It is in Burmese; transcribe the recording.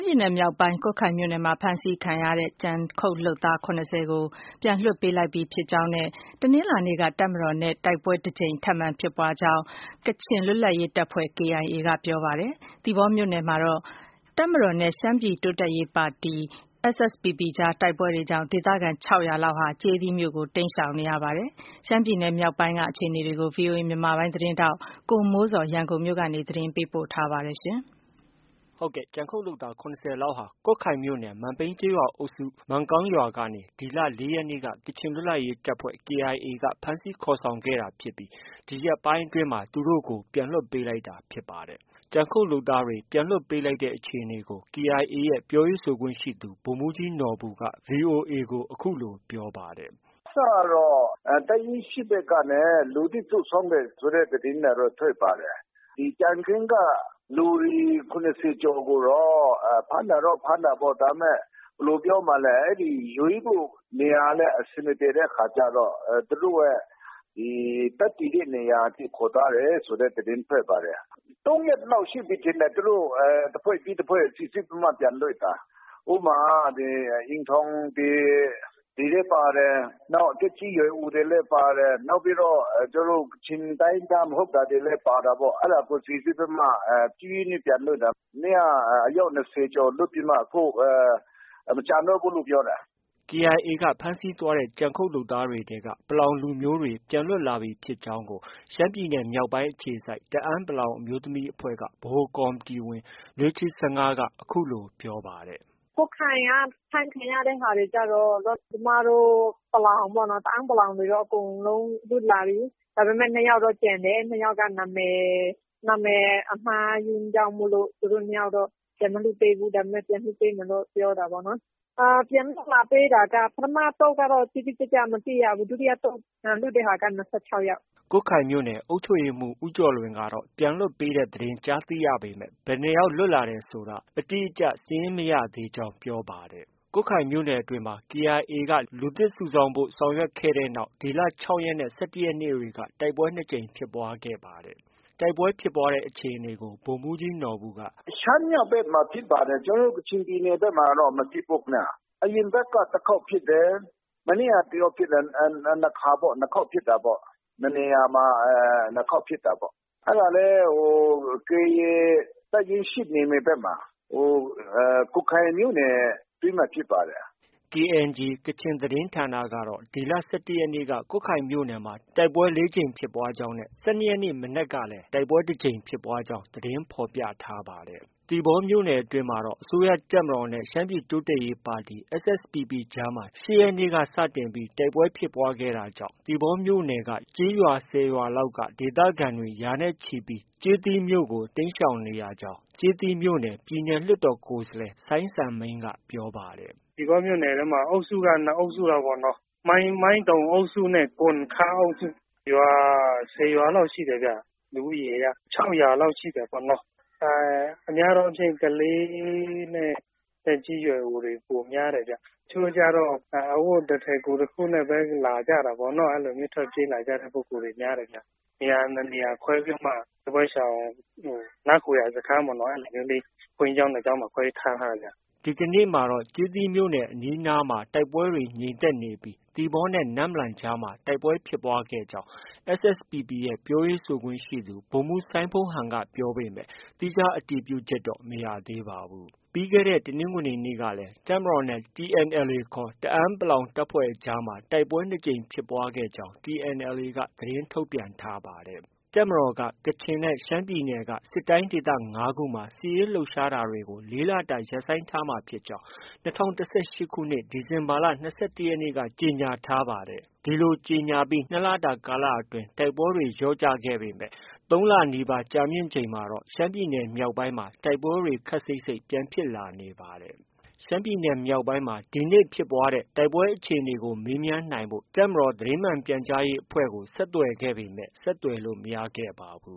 ပြည်နယ် မြောက်ပိုင်း ကွတ်ခိုင်မြို့နယ်မှာ ဖမ်းဆီးခံရတဲ့ ကြံခုတ် လုပ်သား ၇၀ ကို ပြန်လွှတ်ပေးလိုက်ပြီ ဖြစ်ကြောင်းနဲ့ တနင်္လာနေ့က တပ်မတော်နဲ့ တိုက်ပွဲတကြိမ် ထပ်မံဖြစ်ပွားကြောင်း ကချင် လွတ်လပ်ရေးတပ်ဖွဲ့ KIA က ပြောပါတယ်။ သီပေါမြို့နယ်မှာတော့ တပ်မတော်နဲ့ ရှမ်းပြည် တိုးတက်ရေးပါတီ SSPP အကြားတိုက်ပွဲတွေကြောင့် ဒေသခံ ၆၀၀ လောက်ဟာ ကျေးသီးမြို့ကို တိမ်းရှောင်နေရပါတယ်။ ရှမ်းပြည်နယ် မြောက်ပိုင်းက အခြေအနေတွေကို VOA မြန်မာပိုင်းရဲ့ သတင်းထောက် ကိုမိုးဇော်က ရန်ကုန်မြို့ကနေ အခုလို သတင်းပေးပို့ထားပါတယ်။ ဟုတ်ကဲ့။ ကြံခုတ်လုပ်သား ၇၀လောက်ဟာ ကွတ်ခိုင်မြို့နယ် မန်ပြိန်းကျေးရွာအုပ်စု မန်ကောင်းကျေးရွာကနေ ဒီလ ၄ ရက်နေ့က ကချင်လွတ်လပ်ရေးတပ်ဖွဲ့ KIA က ဖမ်းဆီးခေါ်ဆောင်သွားခဲ့တာဖြစ်ပြီး ဒီရက်ပိုင်းအတွင်းမှာ သူတို့ကို ပြန်လွှတ်ပေးလိုက်တာဖြစ်ပါတယ်။ ကြံခုတ်လုပ်သားတွေ ပြန်လွှတ်ပေးလိုက်တဲ့အခြေအနေကို KIA ရဲ့ ပြောရေးဆိုခွင့်ရှိသူ ဗိုလ်မှုးကြီး နော်ဘူက VOA ကို အခုလို ပြောပါတယ်။ “အစကတော့ တပ်ရင်း ၈ ဖက်က လူသစ် စုဆောင်းတယ်ဆိုတဲ့ သတင်းထွက်ပါတယ်။ ကြံခင်းက လူတွေ ၇၀ ကျော်ကိုတော့ ဖမ်းတာတော့ ဖမ်းတာပေါ့။ ဒါပေမဲ့ ဘယ်လို ပြောမှာလဲ၊ ရွေးဖို့ နေရာလည်း အဆင်မပြေတဲ့ အခါကျတော့ သူတို့ရဲ့ တပ်တည်တဲ့ နေရာအထိ ခေါ်သွားတယ်ဆိုတဲ့ သတင်းထွက်ပါတယ်။ ၃ ရက်လောက်ရှိပြီ ထင်တယ်။ သူတို့ တဖွဲ့ပြီးတဖွဲ့ စီစစ်ပြီးတော့ ပြန်လွှတ်တာ။ ဥပမာ ဒီအိမ်ထောင်သည်တွေလည်း ပါတယ်။ နောက် သက်ကြီးရွယ်အိုတွေလည်း ပါတယ်။ နောက်ပြီးတော့ ကချင်တိုင်းရင်းသား မဟုတ်တာတွေလည်း ပါတာပေါ့။ အဲဒါကို စီစစ်ပြီးမှ ဖြည်းဖြည်းချင်း ပြန်လွှတ်တာ။ မနေ့က အယောက် ၂၀ ကျော်လွှတ်ပြီးမှ မကျန်တော့ဘူးလို့ ပြောတယ်။ ” KIA က ဖမ်းဆီးသွားတဲ့ ကြံခုတ် လုပ်သားတွေထဲက ပလောင်လူမျိုးတွေ ပြန်လွတ်လာပြီ ဖြစ်ကြောင်းကို ရှမ်းပြည်နယ် မြောက်ပိုင်းအခြေစိုက် တအန်း အမျိုးသမီးအဖွဲ့က ဗဟိုကော်မတီဝင် လွေးချှီစငါးက အခုလို ပြောပါတယ်။ “ ကွတ်ခိုင်က ဖမ်းခံရတဲ့ဟာတွေကျတော့ ပလောင်တွေပေါ့။ ကျမတို့ တအန်း တွေတော့ အကုန်လုံးလွတ်လာပြီ။ ဒါပေမဲ့ ၂ယောက်တော့ ကျန်တယ်။ ၂ယောက်က နံမည် အမှားကြီးကြောင့်မို့ သူတို့နှစ်ယောက်တော့ ပြန်မလွှတ်ပေးဘူး။ ဒါပေမဲ့ ပြန်လွှတ်ပေးမယ်တော့ ပြောတာပေါ့နော်။ ပြန်လွှတ်လာပေးတာက ပထမ အသုတ်ကတော့ တိတိကျကျ မသိရဘူး။ ဒုတိယ အသုတ်ကတော့ ၂၆ယောက်။” ကွတ်ခိုင်မြို့နယ် အုပ်ချုပ်ရေးမှုး ဦးကျော်လွင်ကတော့ ပြန်လွှတ်ပေးတဲ့ သတင်းကြားသိရပေမဲ့ ဘယ်နှစ်ယောက် ပြန်လွတ်လာတယ်ဆိုတာကို အတိအကျ စာရင်း မရသေးကြောင်း ပြောပါတယ်။ ကွတ်ခိုင်မြို့နယ်အတွင်းမှာ KIA က လူသစ်စုဆောင်းဖို့ ဆောင်ရွက်ခဲ့တဲ့နောက် ဒီလ ၆ ရက်နဲ့ ၁၁ ရက်နေ့က တိုက်ပွဲ ၂ကြိမ်ဖြစ်ပွားခဲ့ပါတယ်။ တိုက်ပွဲဖြစ်ပွားတဲ့ အခြေအနေကို ဗိုလ်မှုးကြီးနော်ဘူ က “ရှမ်းမြောက်ဘက်မှာ ဖြစ်ပါတယ်။ ကျနော်တို့ ကချင်ပြည်ဘက်မှာတော့ မဖြစ်ဘူး။ အရင်အပတ်က တစ်ခေါက်ဖြစ်တယ်။ မနေ့က တစ်ခေါက်ဖြစ်တယ်။ နှစ်ခါပေါ့။ နှစ်နေရာမှာ နှစ်ခေါက်ဖြစ်တာပေါ့။ အဲဒါလည်း KIA တပ်ရင်း ၈ နယ်မြေဘက်မှာ ကွတ်ခိုင်မြို့နယ် အတွင်းမှာ ဖြစ်ပါတယ်။” KNG ကချင် သတင်းဌာနကတော့ ဒီလ ၁၁ရက်နေ့က ကွတ်ခိုင်မြိ့နယ်မှာ တိုက်ပွဲ ၄ ကြိမ်ဖြစ်ကြောင်းနဲ့ ၁၂ရက်နေ့ မနက်မှာလည်း တကြိမ်ဖြစ်ပွားကြောင်း သတင်းဖော်ပြထားပါတယ်။ သီပေါမြို့နယ် အတွင်းမှာတော့ အစိုးရတပ်မတော်နဲ့ ရှမ်းပြည် တိုးတက်ရေးပါတီ SSPP ကြားမှာ ၈ ရက်နေ့စတင် တိုက်ပွဲဖြစ်ပွားခဲ့ပြီး သီပေါမြို့နယ်က ရွာ ၁၀ ရွာလောက်က ရာနဲ့ချီတဲ့ ဒေသခံတွေဟာ ကျေးသီးမြို့ကို တိမ်းရှောင်နေရကြောင်း ကျေးသီးမြို့နယ် ပြည်နယ် လွှတ်တော်ကိုယ်စားလှယ် စိုင်းစံမိန်းက ပြောပါတယ်။ “သီပေါမြို့နယ်ထဲမှာ အုပ်စုက ၂ အုပ်စုပေါ့။ မိုင်းတုန်အုပ်စုနဲ့ ကွမ်ခမ်းအုပ်စု၊ ရွာ ၁၀ ရွာလောက် ရှိတယ်ဗျ။ လူဦးရေက ၆၀၀ လောက် ရှိတယ်ပေါ့။ များသောအားဖြင့် ကလေးနဲ့ သက်ကြီး ရွယ်အိုတွေ ပိုများတယ်ဗျ။ တချို့တွကျတော့ အဝတ်တထည် ကိုယ်တစ်ခုနဲ့ လာကြတာပေါ့။ အဲလိုမျိုး ထွက်ပြေးလာတဲ့ ပုဂ္ဂိုလ်တွေ များတယ်ဗျ။ နေရာ ၂ နေရာ ခွဲပြီးတော့မှ စစ်ဘေးရှောင် နားခိုရာ စခန်းပေါ့နော် အဲလိုမျိုးလေး ဘုန်းကြီးကျောင်း ၂ ကျောင်းမှာ ခွဲပြီးတော့ ထားထားတာ။ ” ဒီကနေ့မှာတော့ ကျေးသီးမြို့ အနီးအနားမှာ တိုက်ပွဲတွေ ငြိမ်သက်နေပြီး သီပေါနဲ့ နမ့်လမ်ကြားမှာ တိုက်ပွဲဖြစ်ပွားတာရှိကြောင်း SSPP ရဲ့ ပြောရေးဆိုခွင့်ရှိသူ ဗိုလ်မှုး စိုင်းဖုန်းဟန်က ပြောပေမဲ့ သီးခြား အတည်ပြုချက်တော့ မရသေးပါဘူး။ ပြီးခဲ့တဲ့ တနင်္ဂနွေနေ့က တပ်မတော်နဲ့ TNLA ခေါ် တအန်း တပ်အကြားမှာ တိုက်ပွဲ ၂ ကြိမ် ဖြစ်ပွားခဲ့ကြောင်း TNLA က သတင်း ထုတ်ပြန်ထားပါတယ်။ တပ်မတော်ကတော့ ကချင်နဲ့ ရှမ်းပြည်နယ်က စစ်တိုင်းဒေသ ၅ခုမှာ စစ်ရေး လှုပ်ရှားတာတွေကို ၄လတာ ရပ်ဆိုင်းထားမှာဖြစ်ကြောင်း ၂၀၁၈ ခုနှစ် ဒီဇင်ဘာလ ၂၁ရက်နေ့က ကြေညာခဲ့ပါတယ်။ ဒီလိုကြေညာပြီး ၂လတာကာလမှာ တိုက်ပွဲတွေ လျော့ကျခဲ့ပေမဲ့ ၃ လနီးပါး ကြာမြင့်ချိန်မှာတော့ ရှမ်းပြည်နယ် မြောက်ပိုင်းမှာ တိုက်ပွဲတွေ ခပ်စိပ်စိပ် ပြန်ဖြစ်လာနေပါတယ်။ ရှမ်းပြည်နယ် မြောက်ပိုင်းမှာ ဒီနေ့ ဖြစ်ပွားတဲ့ တိုက်ပွဲ အခြေအနေကို မေးမြန်းနိုင်ဖို့ တပ်မတော် သတင်းမှန် ပြန်ကြားရေးအဖွဲ့ကို ဆက်သွယ်ခဲ့ပေမဲ့ ဆက်သွယ်လို့ မရခဲ့ပါဘူ